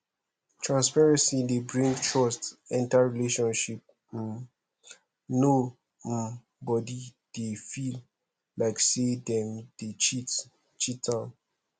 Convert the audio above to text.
[] transparency dey bring trust enter relationship um no um body dey feel like sey dem dey cheat cheat am